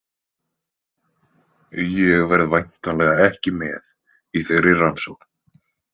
Ég verð væntanlega ekki með í þeirri rannsókn.